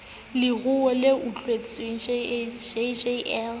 leruo le utswitsweng jj le